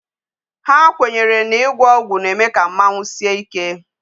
Ha kwenyere na igwo ọgwụ na-eme ka mmanwu sie ike.